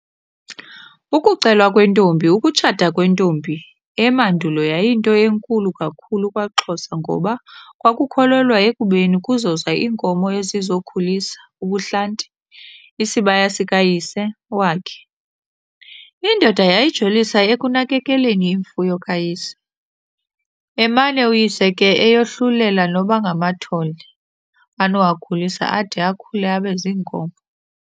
Ukucelwa Kwentombi Ukutshata kwentombi emandulo yayinto enkulu kakhulu kwaXhosa ngoba kwakukholelwa ekubeni kuzoza iinkomo ezizokhulisa ubuhlanti - isibaya sika Yise wakhe. Iindoda yayijolisa ekunakekeleni iimfuyo kaYise, emane uyise ke eyohlulela noba ngamathole anowakhulisa ade akhulu abeziinkomo.